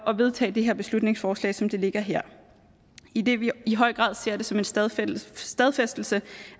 at vedtage det her beslutningsforslag som det ligger her idet vi i høj grad ser det som en stadfæstelse stadfæstelse